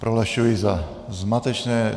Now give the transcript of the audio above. Prohlašuji za zmatečné.